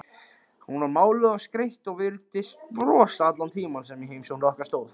Hún var máluð og skreytt og virtist brosa allan tímann sem á heimsókn okkar stóð.